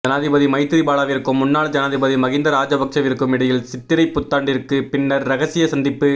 ஜனாதிபதி மைத்திரிபாலவிற்கும் முன்னாள் ஜனாதிபதி மஹிந்த ராஜபக்சவிற்கும் இடையில் சித்திரைப் புத்தாண்டிற்கு பின்னர் இரகசிய சந்திப்பு